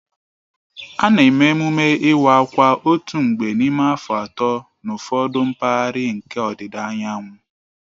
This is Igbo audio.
A na-eme emume iwa akwa otu mgbe n'ime afọ atọ n'ụfọdụ mpaghara nke ọdịda anyanwụ